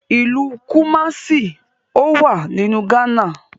Ilú Kumasi ọwá nínú Ghana